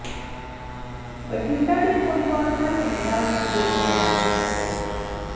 ਬਠਿੰਡਾ ਦੇ ਨੌਜਵਾਨ ਦਾ ਕੈਨੇਡਾ ਵਿਚ ਗੋਲੀਆਂ ਮਾਰ ਕੇ ਕਤਲ